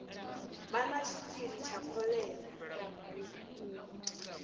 vha na tshitshili tsha kholera